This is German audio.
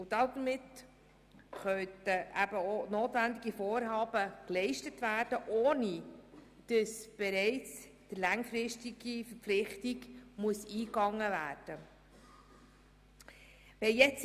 Damit können eben auch notwendige Vorarbeiten geleistet werden, ohne dass bereits eine langfristige Verpflichtung eingegangen werden muss.